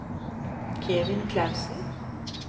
Kevin Klausen